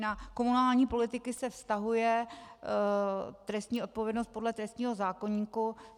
Na komunální politiky se vztahuje trestní odpovědnost podle trestního zákoníku.